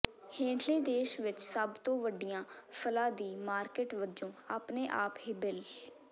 ਹੇਠਲੇ ਦੇਸ਼ ਵਿੱਚ ਸਭ ਤੋਂ ਵੱਡੀਆਂ ਫਲਾਂ ਦੀ ਮਾਰਕੀਟ ਵਜੋਂ ਆਪਣੇ ਆਪ ਹੀ ਬਿਲ